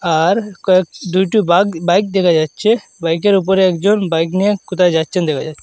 আর কয়েক দুইটি বাক বাইক দেখা যাচ্ছে বাইকের উপরে একজন বাইক নিয়ে কোথায় যাচ্ছেন দেখা যাচ্ছে।